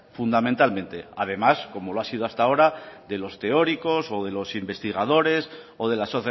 fundamentalmente además como lo ha sido hasta ahora de los teóricos o de los investigadores o de las